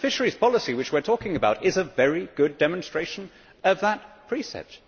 The fisheries policy which we are talking about is a very good demonstration of that precept.